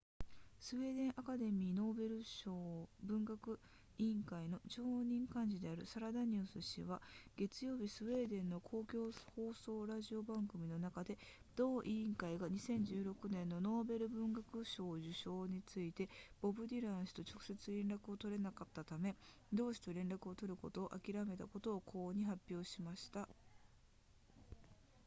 スウェーデンアカデミーのノーベル文学委員会の常任幹事であるサラダニウス氏は月曜日スウェーデンの公共放送ラジオの番組の中で同委員会が2016年のノーベル文学賞受賞についてボブディラン氏と直接連絡を取れなかったため同氏と連絡を取ることを諦めたことを公に発表しました